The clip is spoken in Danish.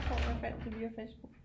At jeg fandt det via Facebook